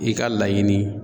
I ka laɲini